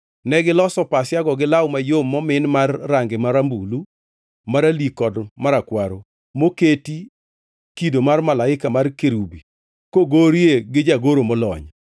Negiloso pasiago gi law mayom momin mar range marambulu, maralik kod marakwaro moketie kido mar malaika mar kerubi kogorie gi jagoro molony.